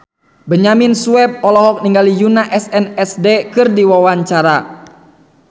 Benyamin Sueb olohok ningali Yoona SNSD keur diwawancara